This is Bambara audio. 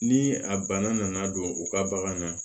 Ni a bana nana don u ka bagan na